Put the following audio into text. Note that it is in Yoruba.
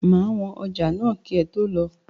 Máa wọn ọjà náà kì ẹ tó lọ